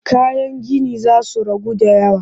Kayan ginin za su ragu da yawa